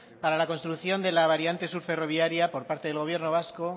para la construcción de la variante sur ferroviaria por parte del gobierno vasco